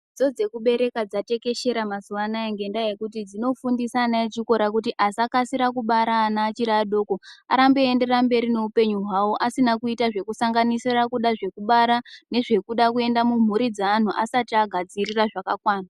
Dzidzo dzekubereka dzatekeshera mazuwa anaya ngenyaya yekuti dzinofundisa ana echikora kuti asakasira kubara ana achiri adoko arambe eienderera mberi neupenyu hwawo asina kuita zvekusanganisira kuda zvekubara nezvekuda kuenda mumburi meantu asati agadzirira zvakakwana.